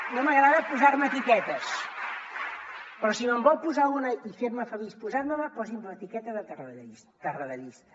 no m’agrada posar me etiquetes però si me’n vol posar una i fer me feliç posant me la posi’m l’etiqueta de tarradellista tarradellista